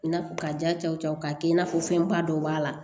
I n'a fɔ ka ja cɛwcɛ k'a kɛ i n'a fɔ fɛnba dɔw b'a la